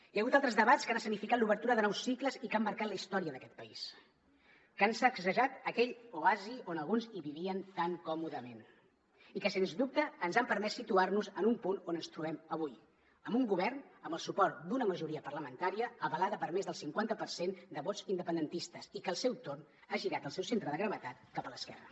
hi ha hagut altres debats que han escenificat l’obertura de nous cicles i que han marcat la història d’aquest país que han sacsejat aquell oasi on alguns hi vivien tan còmodament i que sens dubte ens han permès situar nos en un punt on ens trobem avui amb un govern amb el suport d’una majoria parlamentària avalada per més del cinquanta per cent de vots independentistes i que al seu torn ha girat el seu centre de gravetat cap a l’esquerra